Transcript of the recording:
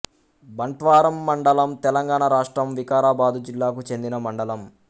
బంట్వారం మండలం తెలంగాణ రాష్ట్రం వికారాబాదు జిల్లాకు చెందిన మండలం